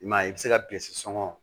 I m'a ye i bɛ se ka sɔngɔ